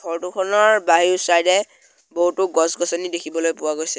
Photo খনৰ বাইয়ো side এ বহুতো গছ-গছনি দেখিবলৈ পোৱা গৈছে।